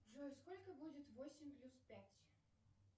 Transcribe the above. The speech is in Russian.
джой сколько будет восемь плюс пять